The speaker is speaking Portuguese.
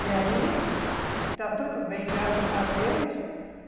E aí, está tudo bem, graças a Deus.